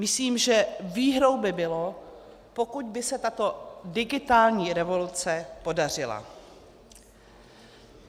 Myslím, že výhrou by bylo, pokud by se tato digitální revoluce podařila.